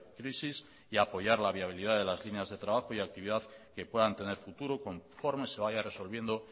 crisis y apoyar la viabilidad de las líneas de trabajo y actividad que puedan tener futuro conforme se vaya resolviendo